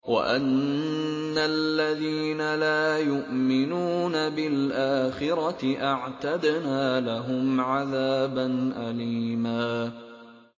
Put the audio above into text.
وَأَنَّ الَّذِينَ لَا يُؤْمِنُونَ بِالْآخِرَةِ أَعْتَدْنَا لَهُمْ عَذَابًا أَلِيمًا